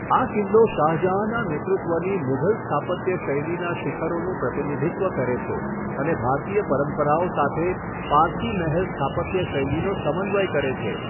આ કિલ્લો શાહજહાંના નેતૃત્વની મુઘલ સ્થાપત્ય શૈલીના શિખરોનું પ્રતિનિધિત્વ કરે છે અને ભારતીય પરંપરાઓ સાથે પારસી મહેલ સ્થાપત્ય શૈલીનો સમન્વય કરે છે.